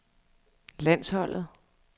landsholdet